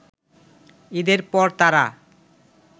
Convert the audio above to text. ঈদের পর তারা